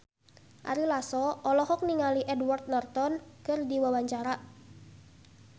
Ari Lasso olohok ningali Edward Norton keur diwawancara